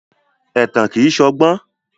Ẹ̀tàn kìí ṣọgbọ́n.